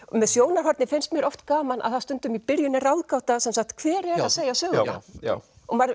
með sjónarhornið finnst mér oft gaman að stundum í byrjun er ráðgáta hver er að segja söguna já